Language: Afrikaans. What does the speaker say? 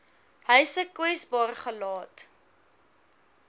huise kwesbaar gelaat